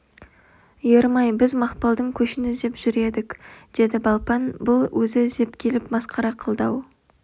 ерім-ай біз мақпалдың көшін іздеп жүр едік деді балпан бұл өзі іздеп келіп масқара қылды-ау